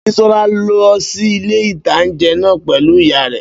Bísọ́lá lọ sí ilé-ìtánjẹ náà pẹ̀lú ìyá rẹ̀